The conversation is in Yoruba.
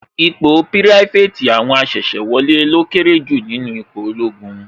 Ipò pirafeti àwọn asese wọlé lọ kéré jù nínú ipò ológun